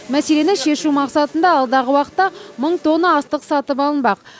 мәселені шешу мақсатында алдағы уақытта мың тонна астық сатып алынбақ